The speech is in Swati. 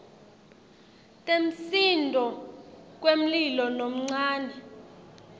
temsindvo wemlilo lomncane